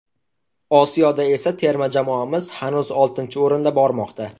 Osiyoda esa terma jamoamiz hanuz oltinchi o‘rinda bormoqda.